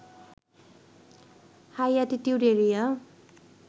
high altitude area